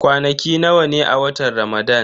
Kwanaki nawa ne a watan Ramadan?